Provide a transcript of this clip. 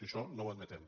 i això no admetem